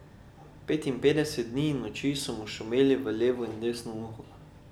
Petinpetdeset dni in noči so mu šumeli v levo in desno uho.